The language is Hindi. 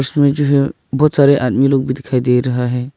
इसमे जो है बहोत सारे आदमी लोग भी दिखाई दे रहा है।